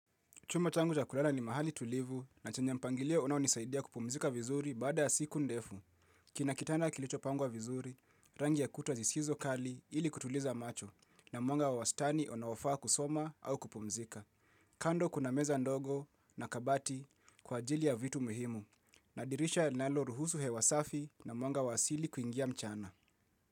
Chumba changu cha kulala ni mahali tulivu na chenye mpangilio unaonisaidia kupumzika vizuri baada ya siku ndefu. Kina kitanda kilichopangwa vizuri, rangi ya kuta zisizo kali ili kutuliza macho na mwanga wa wastani unofaa kusoma au kupumzika. Kando kuna meza ndogo na kabati kwa ajili ya vitu muhimu na dirisha linaloruhusu hewa safi na mwanga wa asili kuingia mchana.